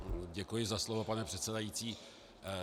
Děkuji za slovo, pane předsedající.